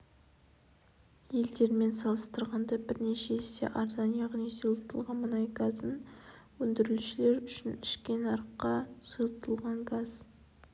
елдермен салыстырғанда бірнеше есе арзан яғни сұйылтылған мұнай газын өндірушілер үшін ішкі нарыққа сұйылтылған газ